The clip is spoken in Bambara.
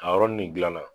A yɔrɔnin nin dilanna